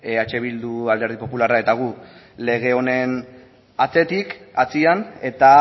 eh bildu alderdi popularrak eta gu lege honen atzetik atzean eta